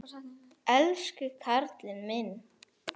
Elsku karlinn minn.